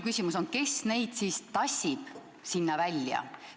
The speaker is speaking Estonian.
Kes neid siis tassib sinna välja?